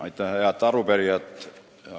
Aitäh, head arupärijad!